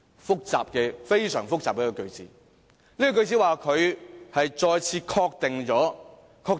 "非常複雜的句子，這句句子說她再次確定了......